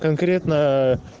конкретно